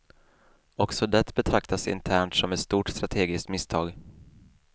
Också det betraktas internt som ett stort strategiskt misstag.